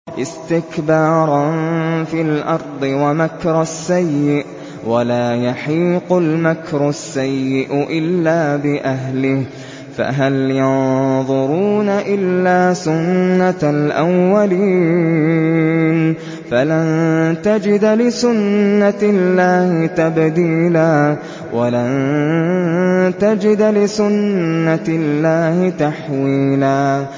اسْتِكْبَارًا فِي الْأَرْضِ وَمَكْرَ السَّيِّئِ ۚ وَلَا يَحِيقُ الْمَكْرُ السَّيِّئُ إِلَّا بِأَهْلِهِ ۚ فَهَلْ يَنظُرُونَ إِلَّا سُنَّتَ الْأَوَّلِينَ ۚ فَلَن تَجِدَ لِسُنَّتِ اللَّهِ تَبْدِيلًا ۖ وَلَن تَجِدَ لِسُنَّتِ اللَّهِ تَحْوِيلًا